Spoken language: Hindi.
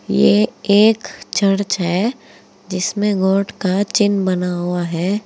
ये एक चर्च है जिसमें गॉड का चिन्ह बना हुआ है।